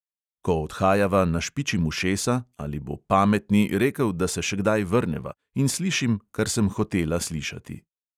Ko odhajava, našpičim ušesa, ali bo pametni rekel, da se še kdaj vrneva, in slišim, kar sem hotela slišati.